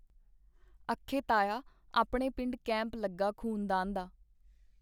ਅਖੇ ਤਾਇਆ ਆਪਣੇ ਪਿੰਡ ਕੈਂਪ ਲੱਗਾ ਖ਼ੂਨਦਾਨ ਦਾ .